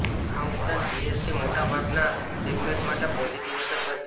આ ઉપરાંત જીએસટી મોટા ભાગના સેગમેન્ટ માટે પોઝિટિવ અસર કરશે